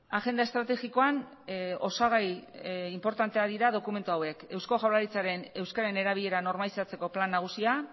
agenda estrategikoan osagai inportanteak dira dokumentu hauek eusko jaurlaritzaren euskararen erabilera normalizatzeko plan nagusia